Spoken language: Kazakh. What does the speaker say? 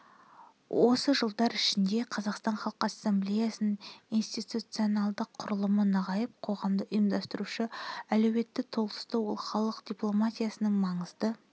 осы жылдар ішінде қазақстан халқы ассамблеясының институционалдық құрылымы нығайып қоғамды ұйыстырушы әлеуеті толысты ол халық дипломатиясының маңызды